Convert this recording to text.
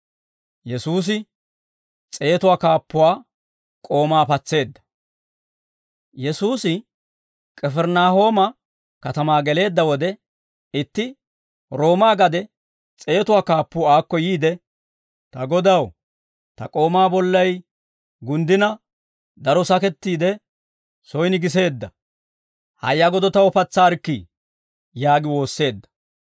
Yesuusi K'ifirinaahooma katamaa geleedda wode, itti Roomaa gade S'eetuwaa Kaappuu aakko yiide, «Ta Godaw, ta k'oomaa bollay gunddina, daro sakettiidde, soyin giseedda; hayya godo taw patsaarikkii» yaagi woosseedda.